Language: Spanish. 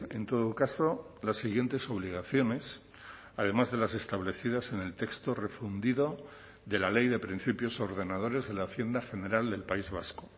en todo caso las siguientes obligaciones además de las establecidas en el texto refundido de la ley de principios ordenadores de la hacienda general del país vasco